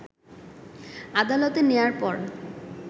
আদালতে নেয়ার পর